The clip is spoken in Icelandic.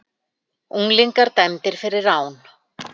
Unglingar dæmdir fyrir rán